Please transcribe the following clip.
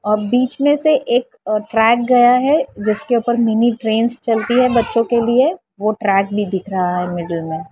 और बीच मे से एक ट्रैक गया है जिसके ऊपर मिनी ट्रेंस चलती है बच्चों के लिए वो ट्रक भी दिख रहा है मिडिल मे--